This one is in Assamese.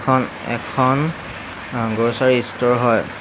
এইখন এখন আ গ্ৰছাৰী স্তৰ হয়।